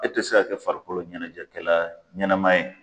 E ti se ka kɛ farikolo ɲɛnajɛkɛla ɲɛnɛma ye